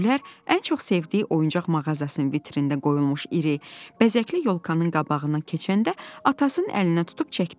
Gülər ən çox sevdiyi oyuncaq mağazasının vitrində qoyulmuş iri, bəzəkli yolkanın qabağından keçəndə atasının əlinə tutub çəkdi.